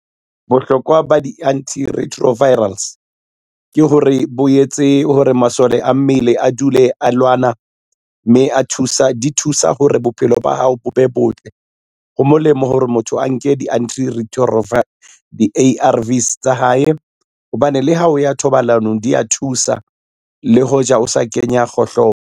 Bohlokwa ba di-antiretrovirals ke hore bo etse hore masole a mmele a dule a lwana, mme di thusa hore bophelo ba hao bo be botle. Ho molemo hore motho a nke di-A_R_Vs tsa hae hobane le ha o ya thobalanong di a thusa le hoja o sa kenya kgohlopo.